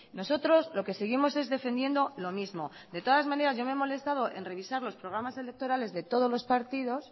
nosotros lo que seguimos es defendiendo lo mismo de todas maneras yo me he molestado en revisar los programas electorales de todos los partidos